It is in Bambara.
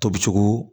Tobi cogo